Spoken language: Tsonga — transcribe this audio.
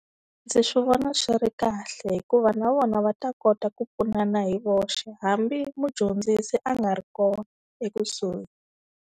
Ndzi swi vona swi ri kahle hikuva na vona va ta kota ku pfunana hi voxe, hambi mudyondzisi a nga ri kona ekusuhi.